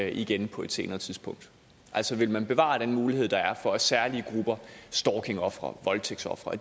igen på et senere tidspunkt altså ville man bevare den mulighed der er for at særlige grupper stalkingofre voldtægtsofre